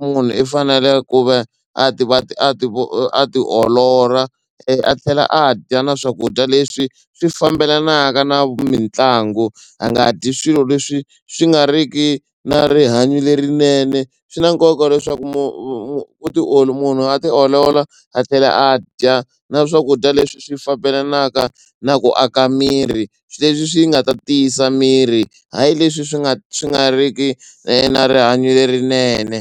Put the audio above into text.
munhu i fanele ku va a ti a ti a ti a tiolola a tlhela a dya na swakudya leswi swi fambelanaka na mitlangu a nga dyi swilo leswi swi nga riki na rihanyo lerinene. Swi na nkoka leswaku mu mu munhu a tiolola a tlhela a dya na swakudya leswi swi fambelanaka na ku aka miri leswi swi nga ta tiyisa miri hayi leswi swi nga swi nga ri ki na rihanyo lerinene.